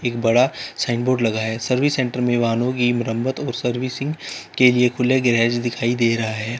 एक बड़ा sign board लगा है सर्विस सेंटर में वाहनों की मरम्मत और सर्विसिंग के लिए खुले गैराज दिखाई दे रहा है।